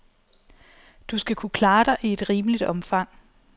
Du skal kunne klare dig i et rimeligt omfang.